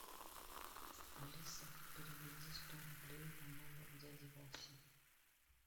алиса переведи сто рублей на номер дяди васи